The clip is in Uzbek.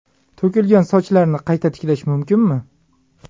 To‘kilgan sochlarni qayta tiklash mumkinmi?.